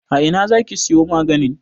A ina za ki siyo maganin?